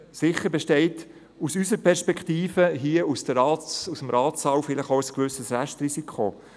Sicher besteht aus unserer Perspektive, hier aus dem Ratssaal, ein gewisses Restrisiko.